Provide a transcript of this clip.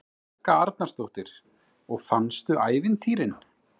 Helga Arnardóttir: Og fannstu ævintýrin?